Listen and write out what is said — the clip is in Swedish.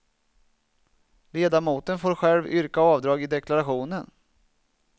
Ledamoten får själv yrka avdrag i deklarationen.